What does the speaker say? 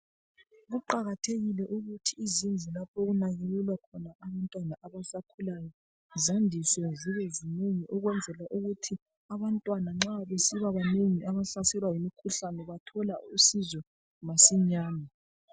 Kuqakathekile ukuthi Izindlu lapho okulaliselwa abantwana abasakhulayo, zandiswe zibe zinengi. Kwenzela ukuthi abantwana nxa besibabanengi abahlaselwa ngumkhuhlane bathola usizo masinyane.